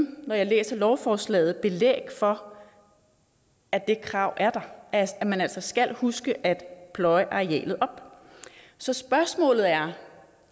når jeg læser lovforslaget finde belæg for at det krav er der at man altså skal huske at pløje arealet op så spørgsmålet er